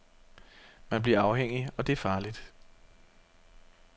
Man bliver afhængig og det er farligt.